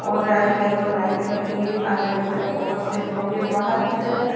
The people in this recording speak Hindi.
और रेड येलो लाइट लगी है अंदर की तरफ बहोत से लोग है बाहर की तरफ --